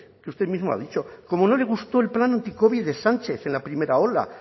que usted mismo ha dicho como no le gustó el plan anticovid de sánchez en la primera ola